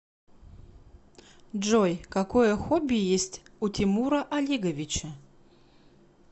джой какое хобби есть у тимура олеговича